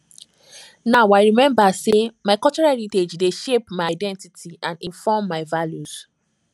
now i remember say my cultural heritage dey shape my identity and inform my values